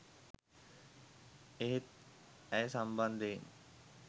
එහෙත් ඇය සම්බන්ධයෙන්